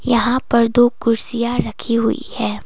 यहां पर दो कुर्सियां रखी हुई है।